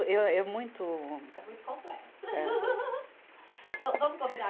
Eu é muito. É muito complexo. Então vamos combinar